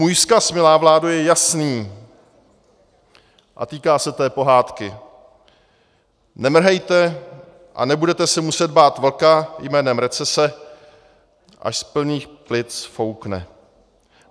Můj vzkaz, milá vládo, je jasný a týká se té pohádky: Nemrhejte a nebudete se muset bát vlka jménem recese, až z plných plic foukne.